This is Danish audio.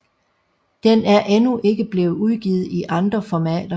Den er endnu ikke blevet udgivet i andre formater